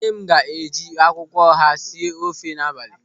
Nne m ga-eji akwụkwọ ọha esi ofe n'abalị.